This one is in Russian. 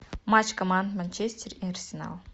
матч команд манчестер и арсенал